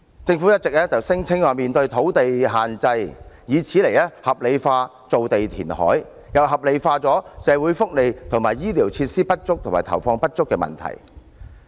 政府一直聲稱土地限制嚴重，以此來合理化填海造地，合理化社會福利和醫療設施不足和資源投放不足等問題。